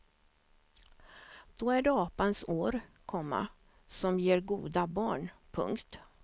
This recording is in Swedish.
Då är det apans år, komma som ger goda barn. punkt